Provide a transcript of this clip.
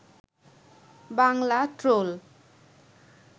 Bangla troll